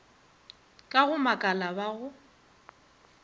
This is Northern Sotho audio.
ka go makala ba go